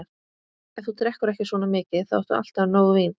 Ef þú drekkur ekki svona mikið, þá áttu alltaf nóg vín.